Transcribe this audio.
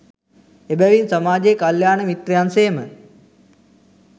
එබැවින් සමාජයේ කල්‍යාණ මිත්‍රයන් සේම